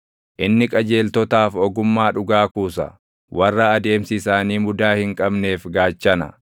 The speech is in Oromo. Inni qajeeltotaaf ogummaa dhugaa kuusa; warra adeemsi isaanii mudaa hin qabneef gaachana;